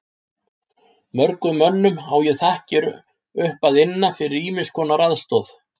Mörgum mönnum á ég þakkir upp að inna fyrir ýmiss konar aðstoð.